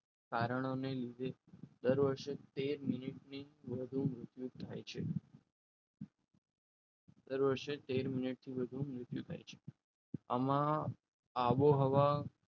કારણોને લીધે દર વર્ષે તેર મિનિટથી વધુ મૃત્યુ થાય છે દર વર્ષે તેર મિનિટથી વધુ મૃત્યુ થાય છે આમાં આબોહવા